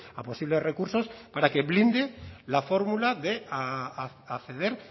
a posibles recursos para que blinde la fórmula de acceder